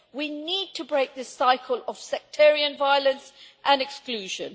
We need to break the cycle of sectarian violence and exclusion.